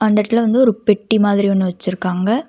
அந்த எடத்துல வந்து ஒரு பெட்டி மாதிரி ஒன்னு வச்சுருக்காங்க.